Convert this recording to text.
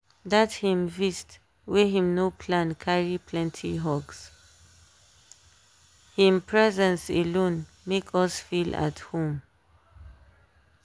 dat him vist wey him no plan carry plenty hugshim presence alone make us feel at home.